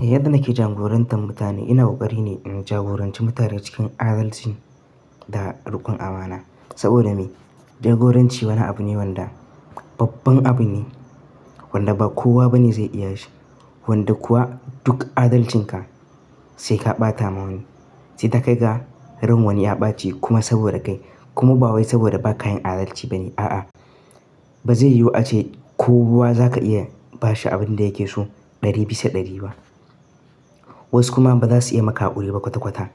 Yadda nake jagorantan mutane ina ƙoƙari ne in jagoranci mutane cikin adalci da riƙon amana. Saboda me? Jagoranci wani abu ne wanda babban abu ne wanda ba kowa bane zai iya shi. Wanda kuwa duk adalcinka sai ka ɓata ma wani. Sai ka kai ga ran wani ya ɓaci kuma saboda kai kuma ba wai saboda ba ka yin adalci bane. A'a, ba zai yiwu ace kowa za ka iya bashi abin da yake so ɗari bisa ɗari ba. Wasu kuma ba za su iya maka haƙuri ba kwata kwata.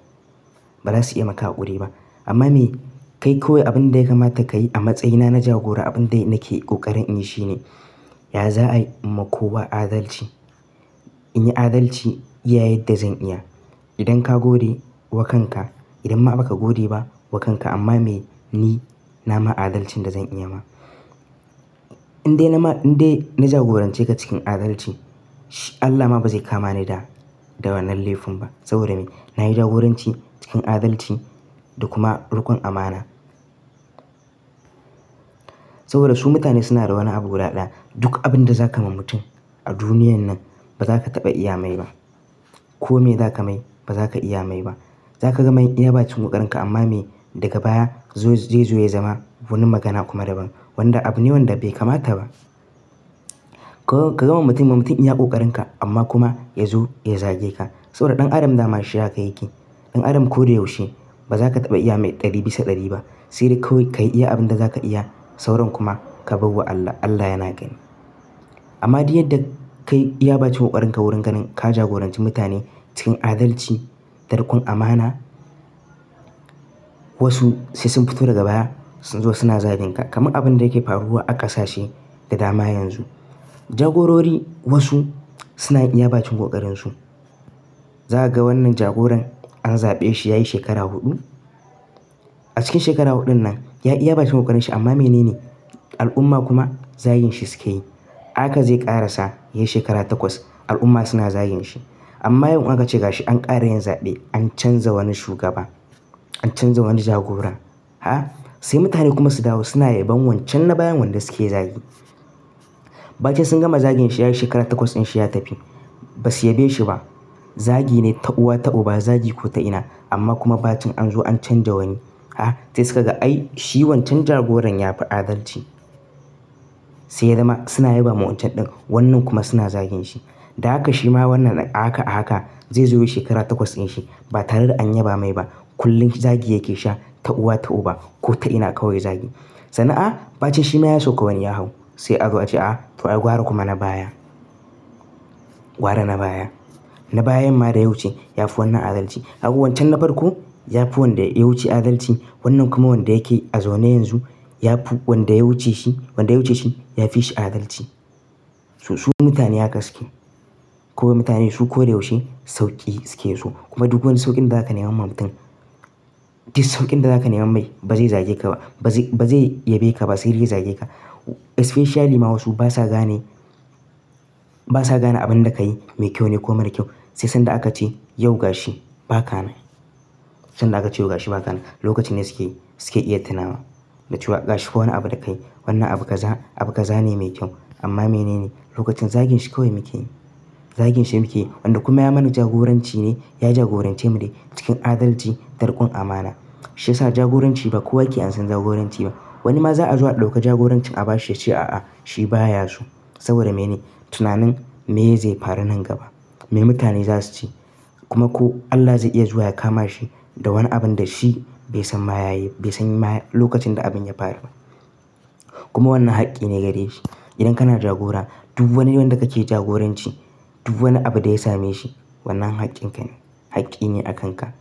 Ba za su iya maka ƙuri'a ba. Amma me? Kai kawai abin da ya kamata ka yi a matsayina na jagora, abin dai nake ƙoƙarin in yi shine, ya za'a yi in ma kowa adalci. In yi adalci iya yadda zan iya. Idan ka gode wa kanka, idan ma ba ka gode ba wa kanka amma me? Ni na ma adalcin da zan iya ma. In dai na ma-- in dai na jagorance ka cikin adalci, shi Allah ma ba zai kama ni da, da wannan laifin ba saboda me? Na yi jagoranci cikin adalci da kuma riƙon amana. Saboda su mutane suna da wani abu guda ɗaya. Duk abin da za ka ma mutum a duniyan nan ba za ka taɓa iya mai ba. Ko me za ka mai ba za ka iya mai ba. Za ka gama iya bacin ƙoƙarinka amma me? Daga baya zai zo ya zama wani magana kuma daban. Wanda abu ne wanda bai kamata ba. Ka gama mutum, mutum ya ƙoƙarinka amma kuma ya zo ya zage ka. Saboda ɗan adam dama shi haka yake. Ɗan adam ko da yaushe ba za ka taɓa iya mai ɗari bisa ɗari ba. Sai dai kawai ka yi iya abin da za ka iya sauran kuma ka bar wa Allah. Allah yana gani. Amma duk yadda kai ya baci ƙoƙarinka wurin ganin ka jagoranci mutane cikin adalci da riƙon amana, wasu sai sun fito daga baya sun zo suna zagen ka. Kaman abin da yake faruwa a ƙasashe da dama yanzu. Jagorori wasu suna yin iya bakin ƙoƙarin su. Za ka ga wannan jagoran an zaɓe shi ya yi shekara huɗu. A cikin shekara huɗun nan ya iya bacin ƙoƙarin shi amma me nene? Al'umma kuma zagin shi suke yi. Haka zai ƙara sa ya yi shekara takwas al'umma suna zagin shi. Amma yau in aka ce ga shi an ƙara yin zaɓe. An canza wani shugaba. An canza wani jagora. Ha! Sai mutane kuma su dawo suna yabon wancan na bayan wanda suke zagi. Ba ce sun gama zagin shi ya yi shekara takwas in shi ya tafi. Ba su yabe shi ba. Zagi ne ta uwa ta uba zagi ko ta ina. Amma kuma bacin an zo an canja wani. Ha! Sai suka ga ai shi wancan jagoran ya fi adalci. Sai dai ma suna yabon wancan ɗin wannan kuma suna zagin shi. Da haka shi ma wannan ahaka a haka zai zo yi shekara takwas in shi ba tare da an yaba mai ba. Kullum zagi yake sha ta uwa ta uba ko ta ina kawai zagi. Sannan a ba ce shi ma ya sauka wani yahau. Sai a zo a ce a to an gwara kuma na baya. Wa da na baya. Na bayan ma da ya wuce ya fi wannan adalci. Kaga wancan na farko ya fi wanda ya wuce adalci wannan kuma wanda yake a zaune yanzu ya fi wanda ya wuce shi, wanda ya wuce shi ya fi shi adalci. Su mutane haka suke. Kawai mutane su ko da yaushe sauƙi suke so. Kuma duk wani sauƙin da za ka nema ma mutum, duk sauƙin da za ka nema mai ba zai zage ka ba. Ba zai, ba zai yabe ka ba sai dai zage ka. Especially ma wasu basa gane, basa gane abin da ka yi mai kyau ne ko mara kyau. Sai sanda aka ce, yau ga shi ba ka na. Sanda aka ce yau ga shi ba ka na. Lokacin ne suke, suke iya tunawa. Da cewa ga shi kowane abu da ka yi wannan abu ka za, abu ka zane mai kyau. Amma me nene? Lokacin zagin shi kawai muke yi. Zagin shi muke yi wanda kuma ya mana jagoranci ne, ya jagorance mu dai cikin adalci da riƙon amana. Shi ya sa jagoranci ba kowa yake ansan jagoranci ba. Wani ma za a zo a ɗauka jagoranci a ba shi ya ce a'a shi baya so. Saboda me ne? Tunanin meye zai faru nan gaba. Me mutane za su ce? Kuma ko Allah zai iya zuwa ya kama shi da wani abin da shi bai san ma ya yi, bai san lokacin da abin ya faru ba. Kuma wannan haƙƙi ne gare shi. Idan kana jagora duk wani wanda kake jagoranci, duk wani abu da ya same shi wannan haƙƙin ka ne. Haƙƙi ne a kan ka.